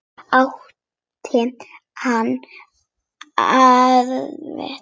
Átti hann erindi við mig?